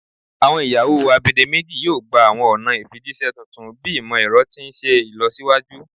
Awọn iyawo agbedemeji yoo gba awọn ọna ifijiṣẹ tuntun bi imọ-ẹrọ ti n ṣe ilọsiwaju